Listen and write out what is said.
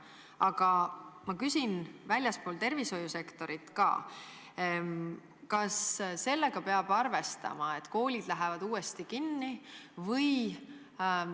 Aga ma küsin ka selle kohta, mis hakkab olema väljaspool tervisehoiusektorit: kas sellega peab arvestama, et koolid lähevad uuesti kinni?